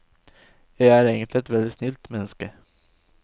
Jeg er egentlig et veldig snilt menneske.